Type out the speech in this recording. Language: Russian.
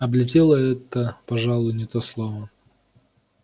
облетела это пожалуй не то слово